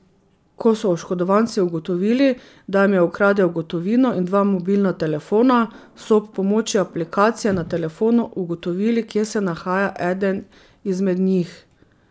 Ko so oškodovanci ugotovili, da jim je ukradel gotovino in dva mobilna telefona, so ob pomoči aplikacije na telefonu ugotovili, kje se nahaja eden izmed njih.